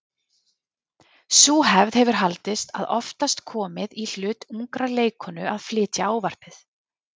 Sú hefð hefur haldist og oftast komið í hlut ungrar leikkonu að flytja ávarpið.